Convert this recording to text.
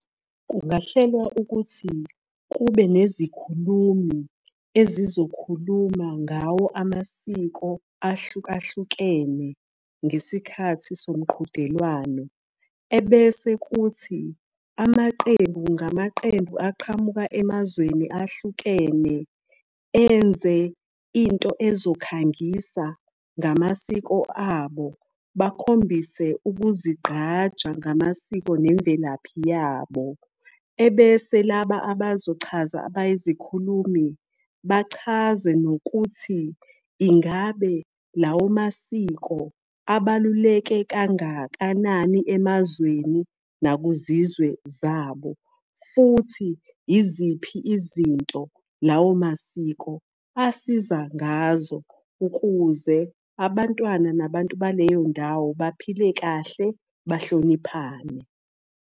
Kungahlelwa ukuthi kube nezikhulumi ezizokhuluma ngawo amasiko ahlukahlukene ngesikhathi somqhudelwano. Ebese kuthi amaqembu ngamaqembu aqhamuka emazweni ahlukene enze into ezokhangisa ngamasiko abo, bakhombise ukuzigqaja ngamasiko nemvelaphi yabo. Ebese laba abazochaza abayizikhulumi, bachaze nokuthi ingabe lawo masiko abaluleke kangakanani emazweni nakuzizwe zabo. Futhi iziphi izinto lawo masiko asiza ngazo ukuze abantwana nabantu baleyo ndawo baphile kahle bahloniphane.